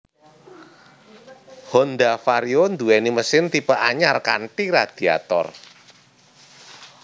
Honda Vario nduweni mesin tipe anyar kanthi radiator